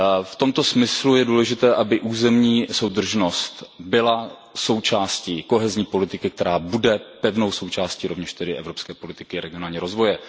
V tomto smyslu je důležité, aby územní soudržnost byla součástí kohezní politiky, která bude pevnou součástí rovněž tedy evropské politiky regionálního rozvoje.